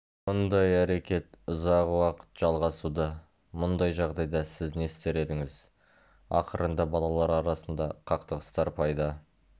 мұндай әрекет ұзақ уақыт жалғасуда мұндай жағдайда сіз не істер едіңіз ақырында балалар арасында қақтығыстар пайда